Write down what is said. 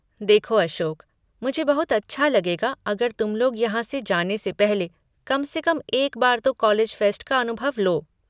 देखो अशोक, मुझे बहुत अच्छा लगेगा अगर तुम लोग यहाँ से जाने से पहले कम से कम एक बार तो कॉलेज फ़ेस्ट का अनुभव लो।